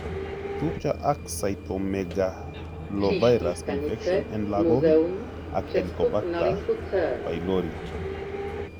Tupcho ak cytomegalovirus infection en lagok ak heliobacter pylori